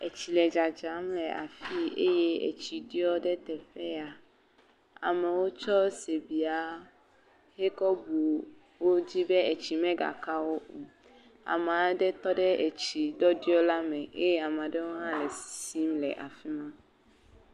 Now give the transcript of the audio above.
Etsi le dzadzam le afii eye etsi ɖɔ ɖe teƒe ya, amewo tsɔ sibea hekɔ bu wo dzi be etsi megaka wo o, amea ɖe tɔ ɖe etsi ɖɔɖɔ la me eye amea ɖewo hã sisim le afi ma.